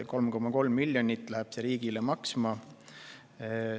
See kõik läheb riigile maksma 3,3 miljonit eurot.